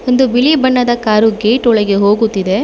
ಒಂದು ಬಿಳಿ ಬಣ್ಣದ ಕಾರು ಗೇಟ್ ಒಳಗೆ ಹೋಗುತ್ತಿದೆ.